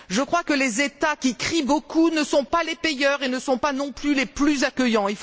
Je crois que les États qui crient beaucoup ne sont pas les payeurs et ne sont pas non plus les plus accueillants.